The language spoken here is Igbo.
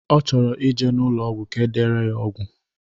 Ọ chọrọ ije n'ụlọ ọgwụ ka edere ya ọgwụ.